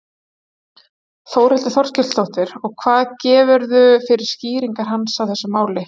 Þórhildur Þorkelsdóttir: Og hvað gefurðu fyrir skýringar hans á þessu máli?